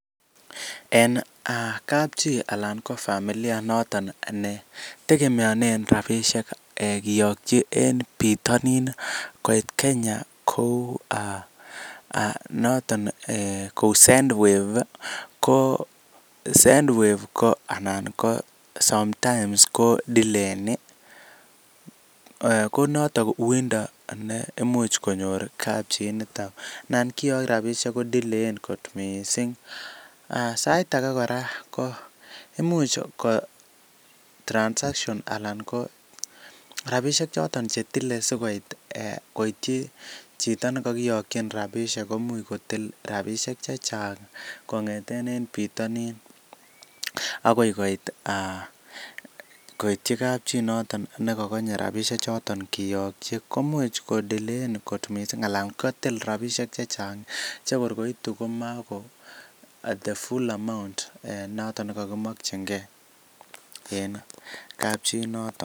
En kap chi anan ko familia inoton ne tegemeonen rabishek kiyokyi en bitonin koit Kenya ko noton kou SendWave ko SendWave ko anan ko sometimes ko delayeni ko noto uindo ne imuch konyor kapchi inito. Nan kiyok rabishek ko deyaen kot mising, sait age kora ko imuch ko transaction anan ko rabishek choton che tile asikoit koityi chito ne kogiyokin rabishek komuch kotil rabishek chechang kong'eten en bitonin agoi koit koityi kapchi noton ne kogonye rabishek choton kiyokyi, komuch kodelayen kot mising anan kotil rabinik che chang che kor koitu komako the full amount noton ne kogimokinge en kapchi inoton.